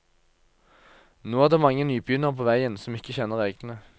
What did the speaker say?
Nå er det mange nybegynnere på veien, som ikke kjenner reglene.